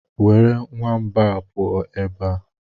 Were nwamba a pụọ ebe a!